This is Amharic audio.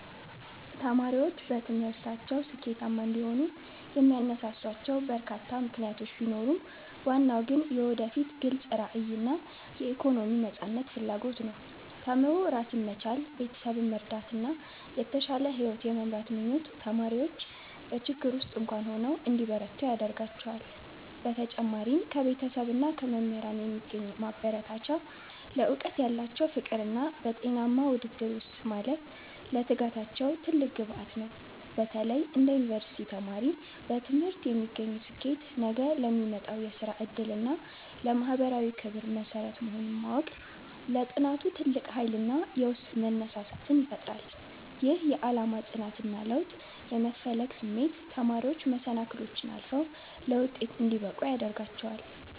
ተማሪዎች በትምህርታቸው ስኬታማ እንዲሆኑ የሚያነሳሷቸው በርካታ ምክንያቶች ቢኖሩም፣ ዋናው ግን የወደፊት ግልጽ ራዕይና የኢኮኖሚ ነፃነት ፍላጎት ነው። ተምሮ ራስን መቻል፣ ቤተሰብን መርዳትና የተሻለ ሕይወት የመምራት ምኞት ተማሪዎች በችግር ውስጥም እንኳ ሆነው እንዲበረቱ ያደርጋቸዋል። በተጨማሪም ከቤተሰብና ከመምህራን የሚገኝ ማበረታቻ፣ ለዕውቀት ያላቸው ፍቅርና በጤናማ ውድድር ውስጥ ማለፍ ለትጋታቸው ትልቅ ግብዓት ነው። በተለይ እንደ ዩኒቨርሲቲ ተማሪ፣ በትምህርት የሚገኝ ስኬት ነገ ለሚመጣው የሥራ ዕድልና ለማኅበራዊ ክብር መሠረት መሆኑን ማወቅ ለጥናቱ ትልቅ ኃይልና የውስጥ መነሳሳትን ይፈጥራል። ይህ የዓላማ ጽናትና ለውጥ የመፈለግ ስሜት ተማሪዎች መሰናክሎችን አልፈው ለውጤት እንዲበቁ ያደርጋቸዋል።